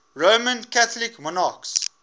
roman catholic monarchs